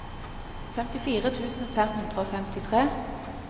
femtifire tusen fem hundre og femtitre